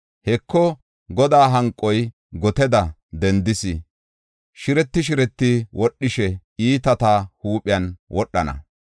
Heko, Godaa hanqoy goteda dendees; shireti shireti wodhishe iitata huuphen wodhana.